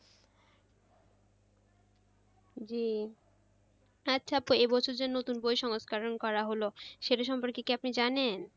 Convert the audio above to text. জি আচ্ছা আপু এবছর যে নতুন বই সংস্করন করা হলো সেটা সম্পর্কে কি আপনি জানেন?